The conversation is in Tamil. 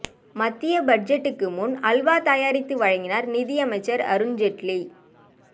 மத்திய பட்ஜெட்டுக்கு முன் அல்வா தயாரித்து வழங்கினார் நிதியமைச்சர் அருண் ஜேட்லி